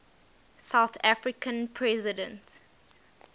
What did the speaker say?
south african president